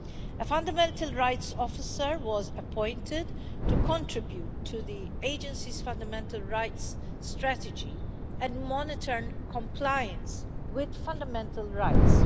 A fundamental rights officer was appointed to contribute to the Agency's fundamental rights strategy and monitor compliance with fundamental rights.